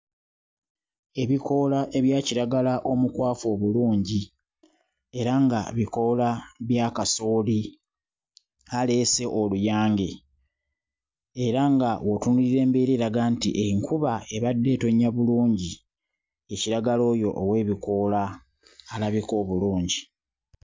Ebikoola ebya kiragala omukwafu obulungi era nga bikoola bya kasooli aleese oluyange era nga w'otunuulira embeera eraga nti enkuba ebadde etonnya bulungi; ye kiragala oyo ow'ebikoola alabika obulungi.